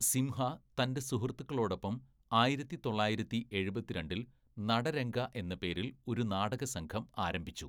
സിംഹ തന്റെ സുഹൃത്തുക്കളോടൊപ്പം ആയിരത്തി തൊള്ളായിരത്തി എഴുപത്തിരണ്ടില്‍ നടരംഗ എന്ന പേരിൽ ഒരു നാടക സംഘം ആരംഭിച്ചു.